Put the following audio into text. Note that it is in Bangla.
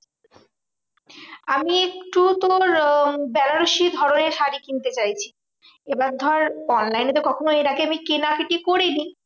আমি একটু তোর বেনারসি ধরণের শাড়ী কিনতে চাইছি। এবার ধর online এ তো কখনো এর আগে আমি কেনাকাটি করিনি।